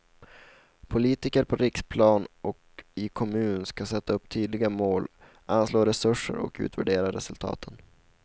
Politiker på riksplan och i kommun ska sätta upp tydliga mål, anslå resurser och utvärdera resultaten.